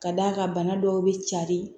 Ka d'a kan bana dɔw bɛ carin